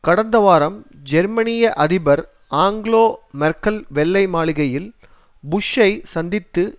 கடந்த வாரம் ஜெர்மனிய அதிபர் அங்கேலா மேர்க்கல் வெள்ளை மாளிகையில் புஷ்ஷை சந்தித்து